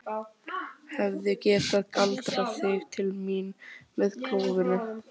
Hefði getað galdrað þig til mín með klofinu.